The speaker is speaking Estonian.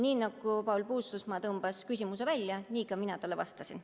Nii nagu Paul Puustusmaa tõmbas küsimuse välja, nii ka mina talle vastasin.